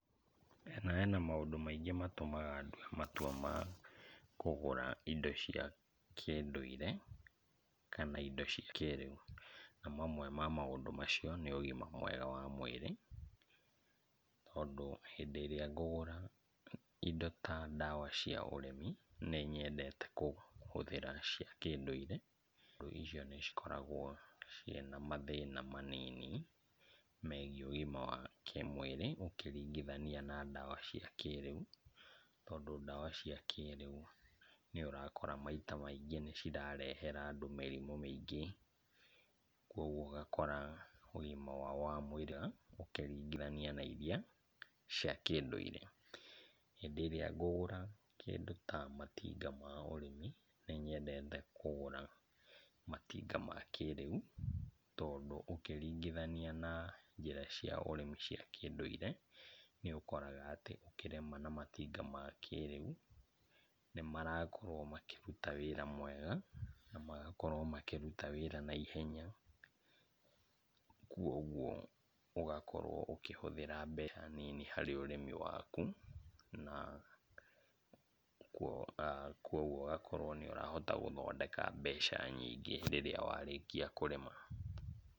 Hena hena maũndũ maingĩ matũmaga ndue matua ma kũgũra indo cia kĩndũire kana indo cia kĩrĩu, na mamwe ma maũndũ macio nĩ ũgima mwega wa mwĩrĩ, tondũ hĩndĩ ĩrĩa ngũgũra indo ta ndawa cia ũrĩmi nĩnyendete kũhũthĩra cia kĩndũire, ũndũ icio nĩcikoragwo ciĩna mathĩna manini megiĩ ũgima wa kĩmwĩrĩ ũkĩringithania na ndawa cia kĩrĩu, tondũ ndawa cia kĩrĩu nĩũrakora maita maingĩ nĩcirarehera andũ mĩrimũ mĩingĩ, kuoguo ũgakora ũgima wao wa mwĩrĩ ũkĩringithania na iria cia kĩndũire. Hĩndĩ ĩrĩa ngũgũra kĩndũ ta matinga ma ũrĩmi nĩnyendete kũgũra matinga ma kĩrĩu tondũ ũkĩringithania na njĩra cia ũrĩmi cia kĩndũire, nĩũkoraga atĩ ũkĩrĩma na matinga ma kĩrĩu, nĩmarakorwo makĩruta wĩra mwega na magakorwo makĩruta wĩra naihenya kuoguo ũgakorwo ũkĩhũthĩra mbeca nini harĩ ũrĩmi waku, na kuoguo ũgakorwo nĩũrahota gũthondeka mbeca nyingĩ hĩndĩ ĩrĩa warĩkia kũrĩma.